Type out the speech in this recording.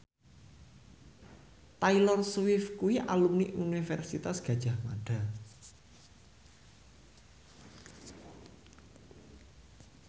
Taylor Swift kuwi alumni Universitas Gadjah Mada